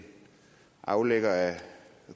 aflægger af